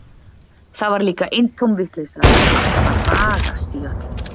Það var líka eintóm vitleysa að vera alltaf að ragast í öllu.